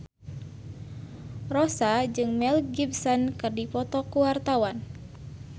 Rossa jeung Mel Gibson keur dipoto ku wartawan